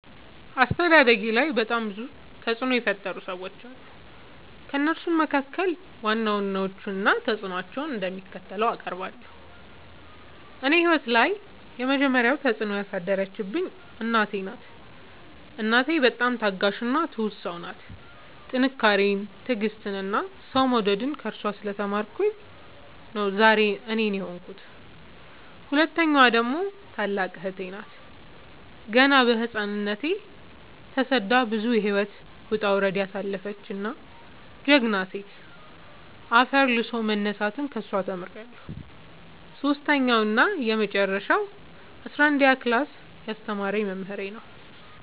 አስተዳደጌላይ በጣም ብዙ ተፅዕኖ የፈጠሩ ሰዎች አሉ። ከእነሱም መካከል ዋና ዋናዎቹን እና ተፅዕኖቸው እንደሚከተለው አቀርባለሁ። እኔ ህይወት ላይ የመጀመሪ ተፅዕኖ ያሳደረችብኝ እናቴ ናት። እናቴ በጣም ታጋሽ እና ትሁት ሰው ናት ጥንካሬን ትዕግስትን እና ሰው መውደድን ከእሷ ስለ ተማርኩኝ ነው ዛሬ እኔን የሆንኩት። ሁለተኛዋ ደግሞ ታላቅ እህቴ ናት ገና በህፃንነቶ ተሰዳ ብዙ የህይወት ወጣውረድ ያሳለፈች ጀግና ሴት አፈር ልሶ መነሳትን ከሷ ተምሬለሁ። ሰሶስተኛው እና የመጀረሻው አስረአንደኛ ክላስ ያስተማረኝ መምህሬ ነው።